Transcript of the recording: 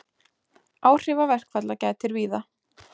Áhrifa verkfalla gætir víða